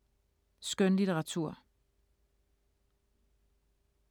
Skønlitteratur